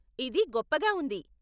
ఇది గొప్పగా ఉంది!